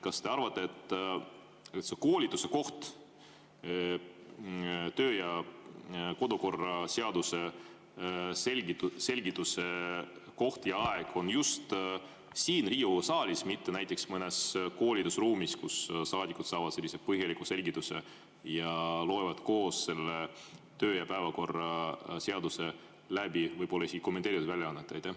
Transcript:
Kas te arvate, et see koolituse koht, töö‑ ja kodukorra seaduse selgituse koht ja aeg on siin Riigikogu saalis, mitte näiteks mõnes koolitusruumis, kus saadikud saavad sellise põhjaliku selgituse ja loevad koos selle seaduse läbi, võib-olla isegi kommenteeritud väljaannet?